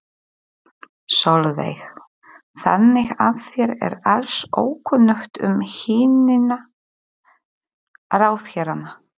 Sólveig: Þannig að þér er alls ókunnugt um hinna ráðherranna?